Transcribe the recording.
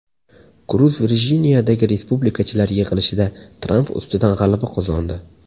Kruz Virjiniyadagi respublikachilar yig‘ilishida Tramp ustidan g‘alaba qozondi.